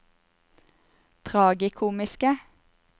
tragikomiske